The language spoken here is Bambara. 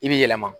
I bi yɛlɛma